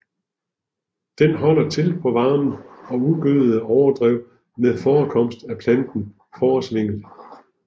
Den holder til på varme og ugødede overdrev med forekomst af planten fåresvingel